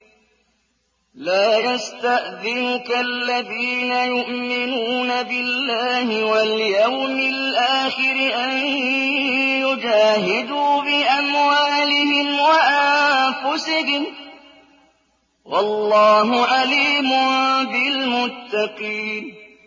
لَا يَسْتَأْذِنُكَ الَّذِينَ يُؤْمِنُونَ بِاللَّهِ وَالْيَوْمِ الْآخِرِ أَن يُجَاهِدُوا بِأَمْوَالِهِمْ وَأَنفُسِهِمْ ۗ وَاللَّهُ عَلِيمٌ بِالْمُتَّقِينَ